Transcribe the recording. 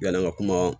Yann'an ka kuma